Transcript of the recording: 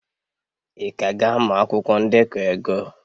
Ị ka ga-amụ akwụkwọ ndekọ ego?